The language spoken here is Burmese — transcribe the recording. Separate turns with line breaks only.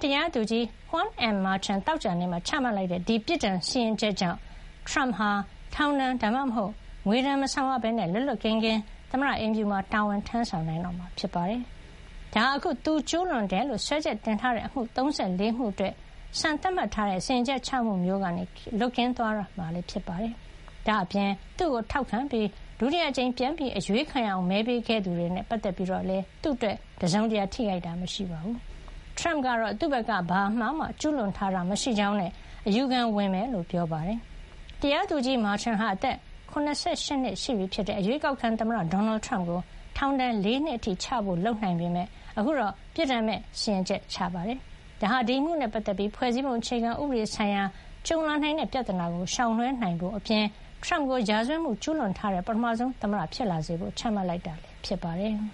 တရားသူကြီး Juan M. Merchan သောကြာနေ့မှာ ချမှတ်လိုက်တဲ့ ဒီ ပြစ်ဒဏ်စီရင်ချက် ကြောင့် ထရမ့်ဟာ ထောင်ဒဏ် ဒါမှမဟုတ် ငွေဒဏ် မဆောင်ရပဲ လွတ်လွတ်ကင်းကင်း သမ္မတအိမ်ဖြူတော်မှာ တာဝန်ထမ်းဆောင် နိုင်တော့မှာ ဖြစ်ပါတယ်။ ဒါဟာ အခု သူကျူးလွန်တယ်လို့ စွဲချက်တင်ထားတဲ့ အမှု ၃၄ မှု အတွက် စံသတ်မှတ်ထားတဲ့ စီရင်ချက်ချမှု မျိုးကနေ လွတ်ကင်းသွားတော့မှာလည်း ဖြစ်ပါတယ်။ ဒါ့အပြင် သူ့ကို ထောက်ခံပြီး ဒုတိယအကြိမ် ပြန်အရွေးခံရအောင် မဲပေးခဲ့သူတွေနဲ့ ပတ်သက်ပြီးလည်း သူ့အတွက် တစုံတရာ ထိခိုက်တာ မရှိပါဘူး။ ထရမ့်ကတော့ သူ့ဘက်က ဘာအမှားမှ ကျူးလွန်ထားတာ မရှိကြောင်းနဲ့ အယူခံဝင်မှာ ဖြစ်ကြောင်း ပြောပါတယ်။ တရားသူကြီး Merchan ဟာ အသက် ၇၈ နှစ်ရှိပြီဖြစ်တဲ့ အရွေးကောက်ခံ သမ္မတ ဒေါ်နယ်ထရမ့်ကို ထောင်ဒဏ် ၄ နှစ် အထိ ချဖို့ လုပ်နိုင်ပေမယ့် အခုတော့ ပြစ်ဒဏ်မဲ့ စီရင်ချက် ချခဲ့တာပါ။ ဒါဟာ ဒီအမှုနဲ့ ပတ်သက်ပြီး ဖွဲ့စည်းပုံ အခြေခံဥပဒေ ဆိုင်ရာ ကြုံလာနိုင်တဲ့ ပြဿနာကို ရှောင်လွှဲနိုင်ဖို့အပြင် ထရမ့်ကို ရာဇဝတ်မှု ကျူးလွန်ထားတဲ့ ပထမဆုံး သမ္မတ ဖြစ်လာစေဖို့ ချမှတ်တာ ဖြစ်
ပါတယ်။